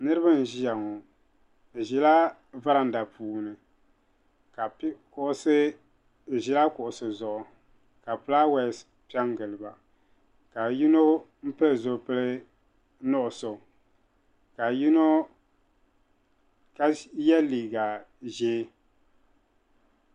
Niriba n-ʒiya ŋɔ bɛ ʒila varanda puuni bɛ ʒila kuɣusi zuɣu ka fulaawaasi pe n-gili ba ka yino pili zipili nuɣuso ka ye liiga ʒee.